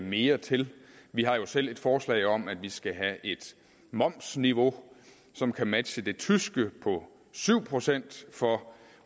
mere til vi har jo selv et forslag om at vi skal have et momsniveau som kan matche det tyske på syv procent for